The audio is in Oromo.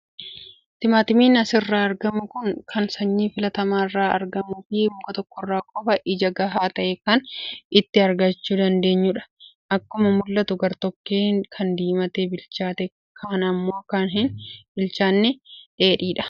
Timaatimiin asirraa argamu kun kan sanyii filatamaarraa argamuu fi muka tokkorraa qofaa ija gahaa ta'e kan itti argachuu dandeenyudha. Akkuma mul'atu gartokkeen kan diimatee bilchaate kaan immoo kan hin bilchaanne dheedhiidha.